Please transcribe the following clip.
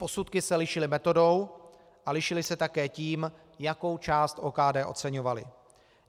Posudky se lišily metodou a lišily se také tím, jakou část OKD oceňovaly.